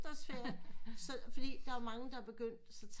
Efterårsferie så fordi der er jo mange der er begyndt